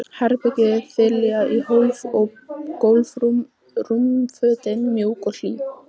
Herbergið þiljað í hólf og gólf, rúmfötin mjúk og hlý.